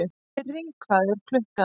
Sirrý, hvað er klukkan?